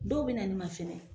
Dɔw bɛ na ne ma fɛnɛ